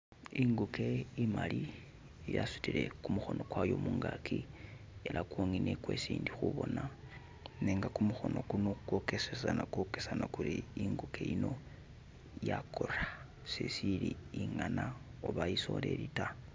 Inguke imali yasutile kumukhono kwayo mungaki ela kwongene kwesi ndi khubona nenga kumukhono kuno kwokesana kuli inguke yino yakora sesili ingana oba isoleli ta.